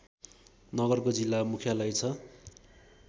नगरको जिल्ला मुख्यालय छ